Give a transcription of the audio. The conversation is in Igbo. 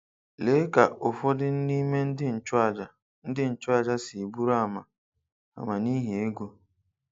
Lee ka ụfọdụ n’ime ndị nchụaja ndị nchụaja si bụrụ ama ama n’ihi ego